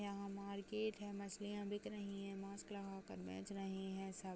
यहां मार्केट है मछलियां बिक रही हैं मास्क लगाकर बैच रहे है सब।